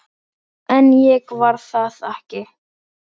En ég varð að fara.